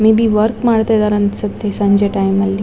May be work ಮಾಡ್ತಾ ಇದಾರೆ ಅನ್ಸುತ್ತೆ ಸಂಜೆ ಟೈಮ್ ಲಿ.